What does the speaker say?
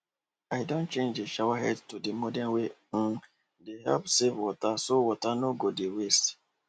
i don change the shower head to the model wey um dey help save water so water no go dey waste